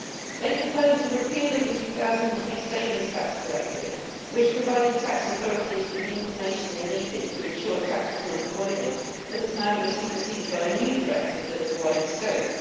They proposed the repeal of the 2003 Savings Tax Directive, which provided tax authorities with the information they needed to ensure tax was not avoided, but has now been superseded by a new directive that has wider scope.